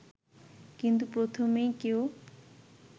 কিন্তু প্রথমেই কেউ